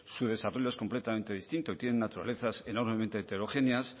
su desarrollo es completamente distinto y tienen naturalezas enormemente heterogéneas